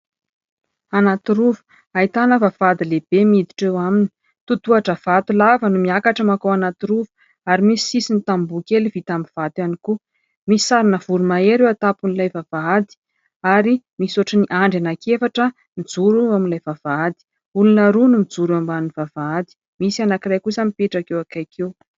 Anaty rova, ahitana vavahady lehibe miditra eo aminy. Totohatra vato lava no miakatra makao anaty rova ary misy sisiny tamboho kely vita amin'ny vato ihany koa. Misy sarina voromahery eo atapon'ilay vavahady ary misy ohatran'ny andry anankiefatra mijoro amin'ilay vavahady. Olona roa no mijoro eo ambanin'ny vavahady, misy anankiray kosa mipetraka eo akaiky eo.